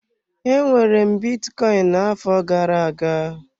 Enwere m bitcoin na-afo gara-aga.